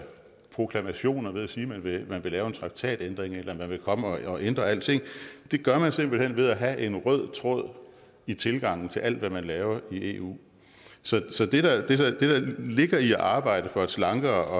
proklamationer ved at sige at man vil lave en traktatændring eller at man vil komme og ændre alting det gør man simpelt hen ved at have en rød tråd i tilgangen til alt hvad man laver i eu så det der ligger i at arbejde for et slankere